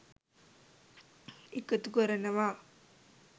එකතු කරනවා.